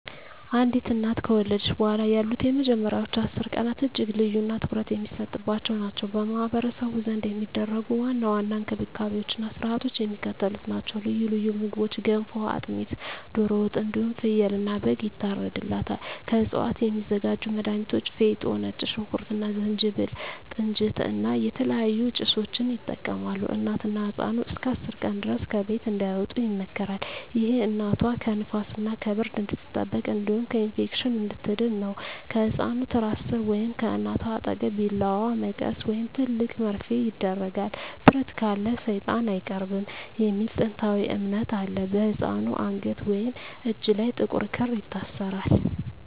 አንዲት እናት ከወለደች በኋላ ያሉት የመጀመሪያዎቹ 10 ቀናት እጅግ ልዩና ትኩረት የሚሰጥባቸው ናቸው። በማኅበረሰቡ ዘንድ የሚደረጉ ዋና ዋና እንክብካቤዎችና ሥርዓቶች የሚከተሉት ናቸው፦ ልዩ ልዩ ምግቦች ገንፎ፣ አጥሚት፣ ዶሮ ወጥ እንዲሁም ፍየልና በግ ይታርድላታል። ከእፅዋት የሚዘጋጁ መድሀኒቶች ፌጦ፣ ነጭ ሽንኩርት እና ዝንጅብል፣ ጥንጅት እና የተለያዩ ጭሶችን ይጠቀማሉ። እናትና ህፃኑ እስከ 10 ቀን ድረስ ከቤት እንዳይወጡ ይመከራል። ይህ እናቷ ከንፋስና ከብርድ እንድትጠበቅ እንዲሁም ከኢንፌክሽን እንድትድን ነው። ከህፃኑ ትራስ ሥር ወይም ከእናቷ አጠገብ ቢላዋ፣ መቀስ ወይም ትልቅ መርፌ ይደረጋል። "ብረት ካለ ሰይጣን አይቀርብም" የሚል ጥንታዊ እምነት አለ። በህፃኑ አንገት ወይም እጅ ላይ ጥቁር ክር ይታሰራል።